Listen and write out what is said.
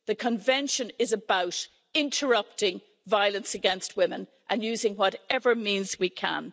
The Convention is about interrupting violence against women and using whatever means we can.